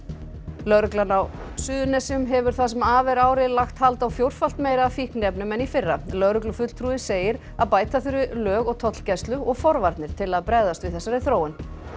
lögreglan á Suðurnesjum hefur það sem af er ári lagt hald á fjórfalt meira af fíkniefnum en í fyrra lögreglufulltrúi þar segir að bæta þurfi í lög og tollgæslu og forvarnir til að bregðast við þessari þróun